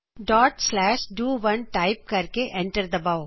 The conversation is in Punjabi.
dot slash do 1 dot slash do 1 type ਕਰਕੇ ਐਂਟਰ ਦਬਾਓ